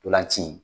Ntolan ci in